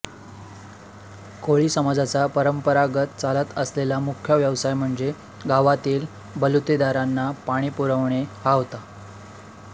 कोळी समाजाचा परंपरागत चालत आलेला मुख्य व्यवसाय म्हणजे गावातील बलुतेदारांना पाणी पुरविणे हा होता